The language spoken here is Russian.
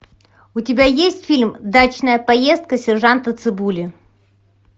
у тебя есть фильм дачная поездка сержанта цыбули